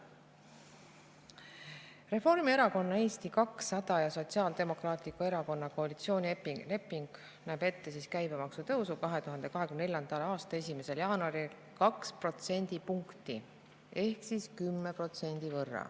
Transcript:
Reformierakonna, Eesti 200 ja Sotsiaaldemokraatliku Erakonna koalitsioonileping näeb ette käibemaksu tõusu 2024. aasta 1. jaanuaril 2 protsendipunkti ehk 10%.